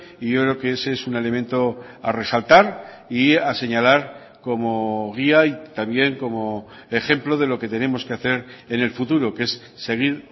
y yo creo que ese es un elemento a resaltar y a señalar como guía y también como ejemplo de lo que tenemos que hacer en el futuro que es seguir